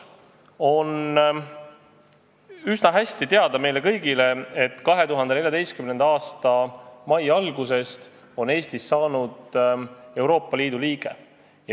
Meile on üsna hästi teada, et 2014. aasta mai algusest on Eesti Euroopa Liidu liige.